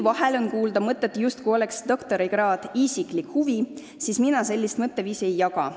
Vahel on kuulda mõtet, justkui oleks doktorikraad iga inimese isiklik huvi, aga mina sellist mõtteviisi ei jaga.